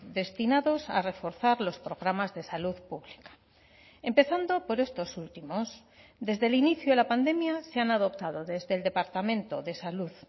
destinados a reforzar los programas de salud pública empezando por estos últimos desde el inicio de la pandemia se han adoptado desde el departamento de salud